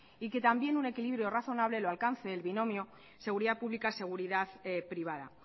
ytambién un equilibrio razonable lo alcance el binomio seguridad pública seguridad privada